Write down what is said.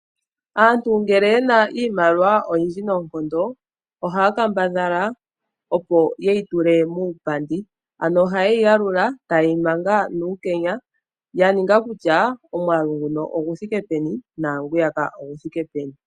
Aantu ngele ye na iimaliwa oyindji noonkondo ohaya kambadhala, opo ye yi tule muupandi. Ohaye yi yalula taye yi manga nuukenya ya ninga kutya omwaalu nguno ogu thike peni naangwiyaka ogu thike peni.